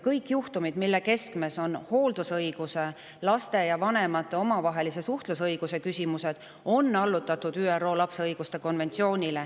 Kõik juhtumid, mille keskmes on hooldusõiguse ning vanema ja lapse suhtlusõiguse küsimused, on allutatud ÜRO lapse õiguste konventsioonile.